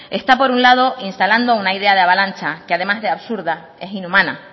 está por un lado instalando una idea de avalancha que además de absurda es inhumana